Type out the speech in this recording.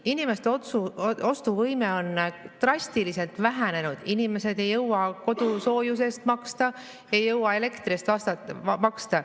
Inimeste ostuvõime on drastiliselt vähenenud, inimesed ei jõua kodusoojuse eest maksta, ei jõua elektri eest maksta.